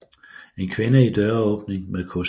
En kvinde i døråbning med kost